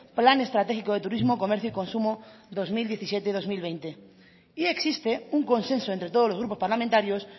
plan estratégico de turismo comercio y consumo dos mil diecisiete dos mil veinte y existe un consenso entre todos los grupos parlamentarios